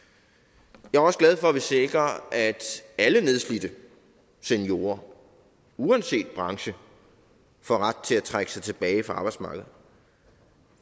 jeg er også glad for at vi sikrer at alle nedslidte seniorer uanset branche får ret til at trække sig tilbage fra arbejdsmarkedet